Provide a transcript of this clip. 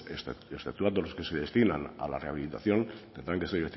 exceptuando a los que se destinan a la rehabilitación tendrán que ser del